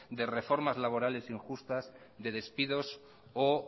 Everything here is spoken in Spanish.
de reformas laborales injustas de despidos o